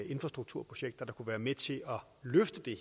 infrastrukturprojekter der kunne være med til at løfte det